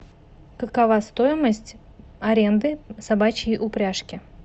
какова стоимость аренды собачьей упряжки